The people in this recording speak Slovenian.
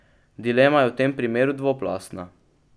Dilema je v tem primeru dvoplastna.